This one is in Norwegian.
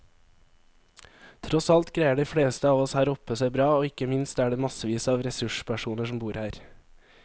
Tross alt greier de fleste av oss her oppe seg bra, og ikke minst er det massevis av ressurspersoner som bor her.